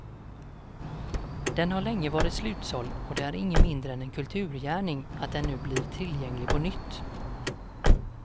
Den har länge varit slutsåld och det är inget mindre än en kulturgärning att den nu blir tillgänglig på nytt.